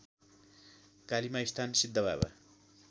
Kali Maisthan Siddhababa